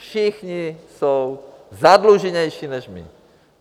Všichni jsou zadluženější než my.